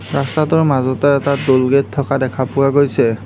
ৰাস্তাটোৰ মাজতে এটা ট'ল গেট থকা দেখা পোৱা গৈছে।